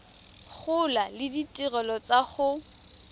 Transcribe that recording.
gola le ditirelo tsa go